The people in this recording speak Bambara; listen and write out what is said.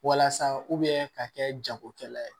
Walasa ka kɛ jagokɛla ye